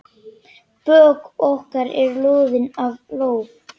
Bök okkar eru loðin af ló.